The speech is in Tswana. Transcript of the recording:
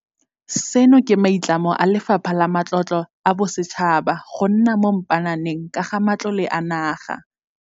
Seno ke maitlamo a Lefapha la Matlotlo a Bosetšhaba go nna mo mpaananeng ka ga matlole a naga.